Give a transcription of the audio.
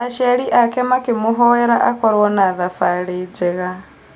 Aciari ake makĩmũhoera akorwo na thabarĩ njega.